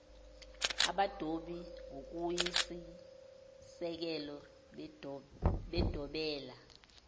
abadobi ngokuyisisekelo bedobela